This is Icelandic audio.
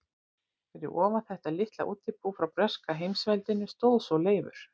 Fyrir ofan þetta litla útibú frá breska heimsveldinu stóð svo Leifur